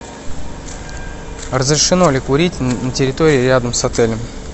разрешено ли курить на территории рядом с отелем